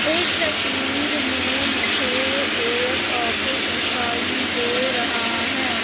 इस तस्वीर में मुझे एक ऑफिस दिखाई दे रहा है।